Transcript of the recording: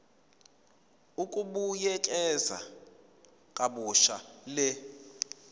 ukubuyekeza kabusha le